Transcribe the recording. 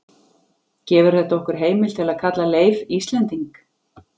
Gefur þetta okkur heimild til að kalla Leif Íslending?